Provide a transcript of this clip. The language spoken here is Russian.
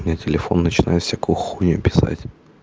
у меня телефон начинает всякую хуйню писать